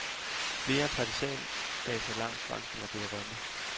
Flere partisanbaser langs grænsen er blevet rømmet.